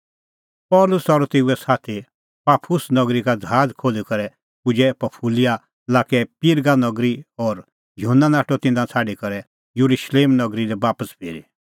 पल़सी और तेऊए साथी पाफुस नगरी का ज़हाज़ खोल्ही करै पुजै पंफूलिआ लाक्कै पिरगा नगरी और युहन्ना नाठअ तिन्नां छ़ाडी करै येरुशलेम नगरी लै बापस फिरी